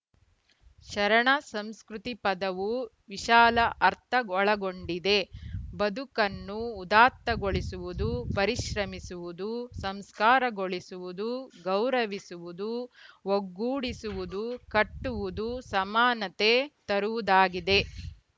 ಶರಣ ಸಂಸ್ಕೃತಿ ಪದವು ವಿಶಾಲ ಅರ್ಥ ಒಳಗೊಂಡಿದೆ ಬದುಕನ್ನು ಉದಾತ್ತಗೊಳಿಸುವುದು ಪರಿಶ್ರಮಿಸುವುದು ಸಂಸ್ಕಾರಗೊಳಿಸುವುದು ಗೌರವಿಸುವುದು ಒಗ್ಗೂಡಿಸುವುದು ಕಟ್ಟುವುದು ಸಮಾನತೆ ತರುವುದಾಗಿದೆ